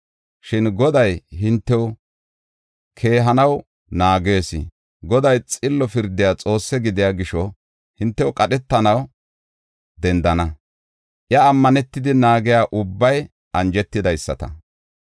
Shin Goday hintew keehanaw naagees; Goday xillo pirdiya Xoossi gidiya gisho hintew qadhetanaw dendana. Iya ammanetidi naagiya ubbay anjetidaysata.